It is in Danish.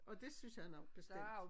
Og det synes han også bestemt